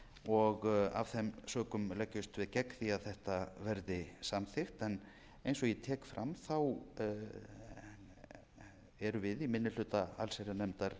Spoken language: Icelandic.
og af þeim sökum leggjumst við gegn því að þetta verði samþykkt eins og ég tek fram erum við í minni hluta allsherjarnefndar